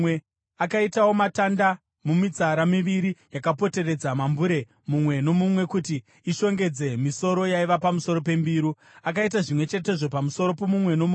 Akaitawo matamba mumitsara miviri yakapoteredza mumbure mumwe nomumwe kuti ishongedze misoro yaiva pamusoro pembiru. Akaita zvimwe chetezvo pamusoro pomumwe nomumwe.